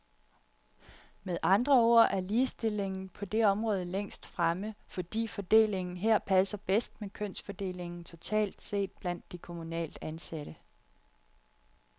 Med andre ord er ligestillingen på det område længst fremme, fordi fordelingen her passer bedst med kønsfordelingen totalt set blandt de kommunalt ansatte.